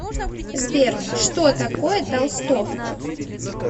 сбер что такое толстовка